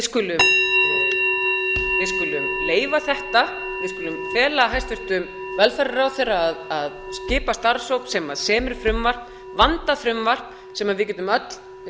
skulum leyfa þetta við skulum fela hæstvirtur velferðarráðherra að skipa starfshóp sem semur frumvarp vandað frumvarp sem við getum öll